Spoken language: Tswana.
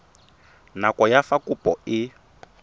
nako ya fa kopo e